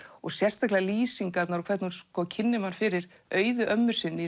sérstaklega lýsingarnar og hvernig hún kynnir mann fyrir Auði ömmu sinni í